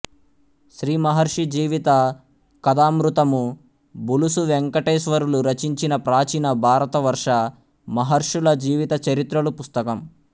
శ్రీ మహర్షి జీవిత కథామృతము బులుసు వేంకటేశ్వరులు రచించిన ప్రాచీన భారతవర్ష మహర్షుల జీవితచరిత్రలు పుస్తకం